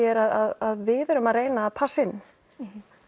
er að við erum að reyna að passa in